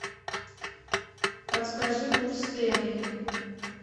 подскажи курс тенге